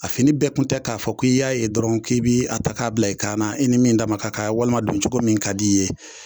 A fini bɛɛ kun tɛ k'a fɔ k'i y'a ye dɔrɔn k'i bi a ta k'a bila i kanna i ni min dama ka kan walima don cogo min ka d'i ye